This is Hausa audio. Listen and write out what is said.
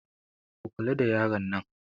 Ku kula da yaran nan!